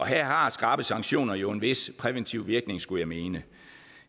her har skrappe sanktioner jo en vis præventiv virkning skulle jeg mene